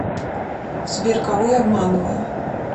сбер кого я обманываю